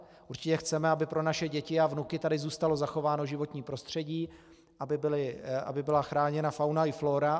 Určitě chceme, aby pro naše děti a vnuky tady zůstalo zachováno životní prostředí, aby byla chráněna fauna i flóra.